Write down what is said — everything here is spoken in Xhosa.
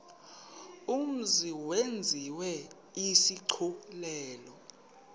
mzi yenziwe isigculelo